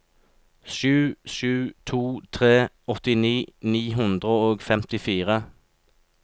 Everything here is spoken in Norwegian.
sju sju to tre åttini ni hundre og femtifire